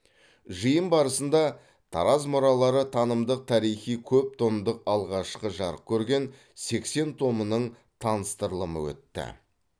жиын барысында тараз мұралары танымдық тарихи көптомдықтың алғашқы жарық көрген сексен томының таныстырылымы өтті